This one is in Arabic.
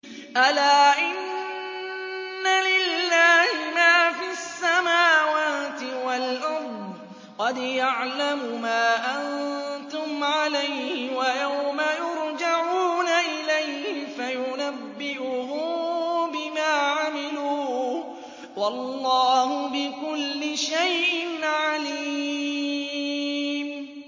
أَلَا إِنَّ لِلَّهِ مَا فِي السَّمَاوَاتِ وَالْأَرْضِ ۖ قَدْ يَعْلَمُ مَا أَنتُمْ عَلَيْهِ وَيَوْمَ يُرْجَعُونَ إِلَيْهِ فَيُنَبِّئُهُم بِمَا عَمِلُوا ۗ وَاللَّهُ بِكُلِّ شَيْءٍ عَلِيمٌ